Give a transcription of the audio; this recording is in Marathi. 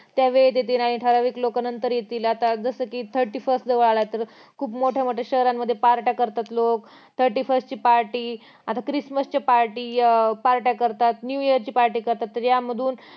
त्या वेळेत येत नाही ठराविक लोक नंतर येतील आता जस कि thirty first जवळ आला तर खूप मोठ्या मोठ्या शहरांमध्ये party करतात लोक thirty first ची party आता chrismas अं party party कारतात लोक new year ची party